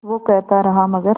वो कहता रहा मगर